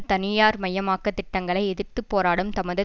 தனியார்மயமாக்கத் திட்டங்களை எதிர்த்து போராடும் தமது